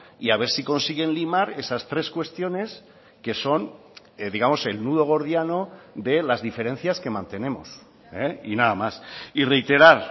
y a ver si consiguen limar esas tres cuestiones que son digamos el nudo gordiano de las diferencias que mantenemos y nada más y reiterar